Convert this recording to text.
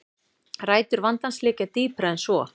Rætur vandans liggja dýpra en svo